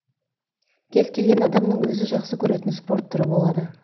кез келген адамның өзі жақсы көретін спорт түрі болады